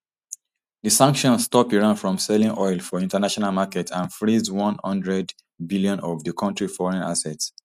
di sanctions stop iran from selling oil for international markets and freeze one hundred bn of di kontri foreign assets